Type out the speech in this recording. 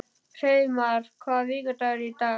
Hreiðmar, hvaða vikudagur er í dag?